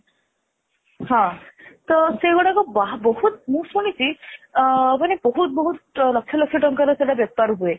ହଁ ତ ସେଇଗୁଡାକ ବହୁତ ମୁଁ ଶୁଣିଛି ଅ ଅମନେ ବହୁତ ବହୁତ ଲକ୍ଷ ଲକ୍ଷ ତାଙ୍କର ସେଇଟା ବେପାର ହୁଏ